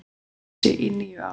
þess í níu ár.